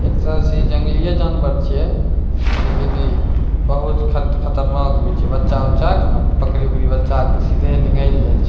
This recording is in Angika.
एक तरह से इ जंगलीये जानवर छिये लेकिन इ बहुत खन्त खतरनाक भी छे बचा-उचा क न बकरी-उकरी बच्चा क सीधे निगल जाए छे।